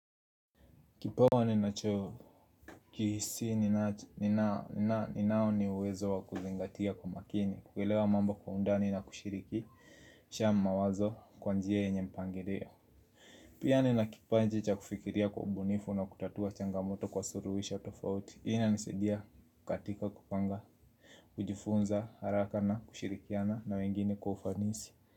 Kipawa ninacho kisi ni nao ni uwezo wakuzingatia kwa makini. Kuelewa mambo kwa undani na kushirikisha mawazo kwanjia yenye mpangilio. Pia nina kipaji cha kufikiria kwa ubunifu na kutatua changamoto kwa suluhisho tofauti hii inanisaidia katika kupanga. Kujifunza haraka na kushirikiana na wengine kwa ufanisi.